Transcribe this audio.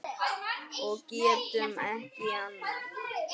Og getum ekki annað.